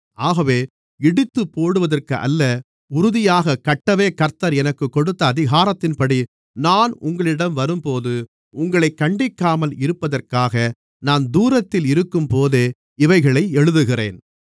ஆகவே இடித்துப்போடுவதற்கு அல்ல உறுதியாகக் கட்டவே கர்த்தர் எனக்குக் கொடுத்த அதிகாரத்தின்படி நான் உங்களிடம் வரும்போது உங்களைக் கண்டிக்காமல் இருப்பதற்காக நான் தூரத்தில் இருக்கும்போதே இவைகளை எழுதுகிறேன்